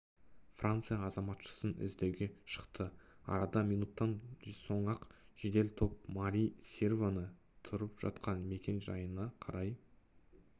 франция азаматшасын іздеуге шықты арада минуттан соң-ақ жедел топ мари серваны тұрып жатқан мекен-жайына қарай